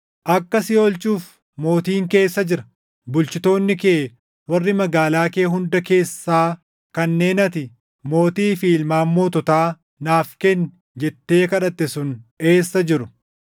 Akka si oolchuuf mootiin kee eessa jira? Bulchitoonni kee warri magaalaa kee hunda keessaa kanneen ati, ‘Mootii fi ilmaan moototaa naaf kenni’ jettee kadhatte sun eessa jiru?